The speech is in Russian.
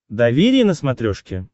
доверие на смотрешке